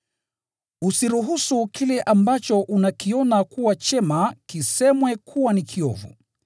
Usiruhusu kile ambacho unakiona kuwa chema kisemwe kuwa ni kiovu.